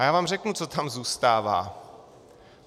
A já vám řeknu, co tam zůstává.